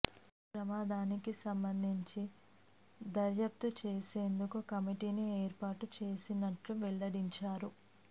ఈ ప్రమాదానికి సంబంధించి దర్యాప్తు చేసేందుకు కమిటీని ఏర్పాటు చేసినట్లు వెల్లడించారు